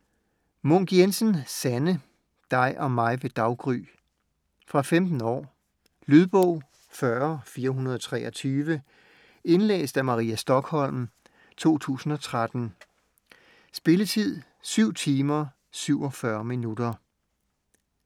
Munk Jensen, Sanne: Dig og mig ved daggry Fra 15 år. Lydbog 40423 Indlæst af Maria Stokholm, 2013. Spilletid: 7 timer, 47 minutter.